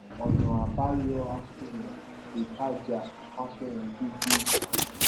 ọnà àbáyọ àsunwon ìtajà àsunwon gidi